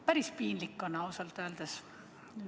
Päris piinlik on, ausalt öeldes.